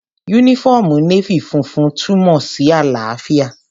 Yúnífọ́ọ̀mù Nééfì funfun túnmọ̀ sí àlàáfíà